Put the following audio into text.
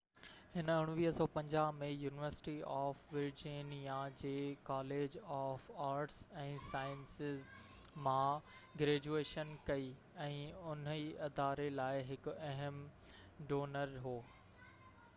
هِن 1950 ۾ university of Virginia جي college of arts ۽ sciences مان graduation ڪئي ۽ انهي اداري لاءِ هڪ اهم ڊونر هو